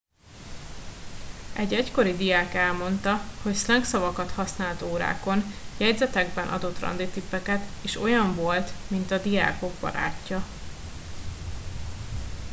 egy egykori diák elmondta hogy szlengszavakat használt órákon jegyzetekben adott randitippeket és olyan volt mint a diákok barátja